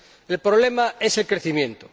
El problema es el crecimiento.